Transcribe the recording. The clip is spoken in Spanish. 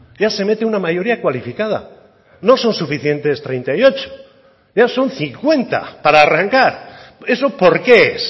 ya se mete una mayoría cualificada no son suficientes treinta y ocho ya son cincuenta para arrancar eso por qué es